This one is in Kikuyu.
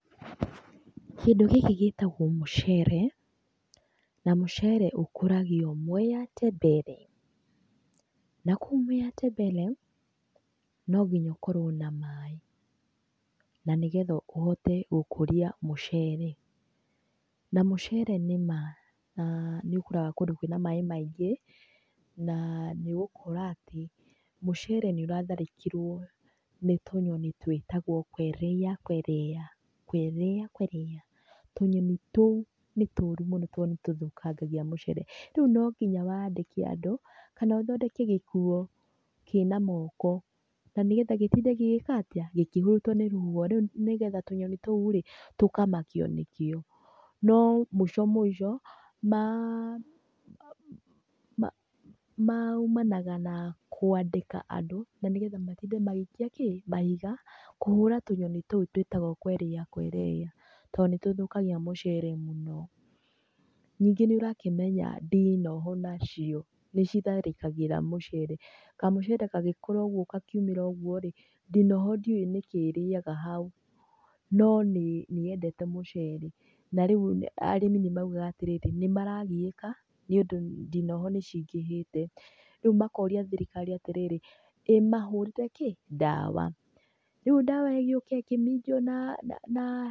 Kĩndũ gĩkĩ gĩtagwo mũcere, na mũcere ũkũragio Mwea Tembere. Na kũu Mwea Tembere no nginya ũkorwo na maĩ, na nĩgetha ũhote gũkũria mũcere. Na mũcere nĩma nĩ ũkũraga kũndũ kwĩna maĩ maingĩ na nĩ ũgũkora atĩ mũcere nĩ ũratharĩkĩrwo nĩ tũnyoni twĩtagwo kwerea kwerea kwerea kwerea, tũnyoni tũu nĩ tũru mũno to nĩ tũthũkangagia mũcere, rĩu nonginya wandĩke andũ kana ũthondeke gĩkuo kĩna moko, na nĩgetha gĩtinde gĩgĩka atĩa? Gĩkĩhurutwo nĩ rũhuho, rĩu nĩgetha tũnyoni tũu rĩ tũkamakio nĩkio. No mũico mũico maumanaga na kwandĩka andũ, na nĩgetha matinde magĩikia kĩ? mahiga kũhũra tũnyoni tũu twĩtagwo kwerea kwerea to nĩ tũthũkagia mũcere mũno. Ningĩ nĩ ũrakĩmenya ndinoho nacio nĩ citharĩkagĩra mũcere, kamũcere gagĩkũra ũguo gakiumĩra ũguo rĩ ndinoho ndiuwĩ nĩkĩ ĩrĩyaga hau, no nĩ yendete mũcere, na rĩu arĩmi nĩ maũgaga atĩrĩrĩ nĩmaragĩyĩka nĩ ũndũ ndinoho nĩ cingĩhĩte, rĩu makoria thirikari atĩrĩrĩ, ĩmahũrĩre kĩ? ndawa. Rĩu ndawa ĩgĩũke ĩkĩminjio na...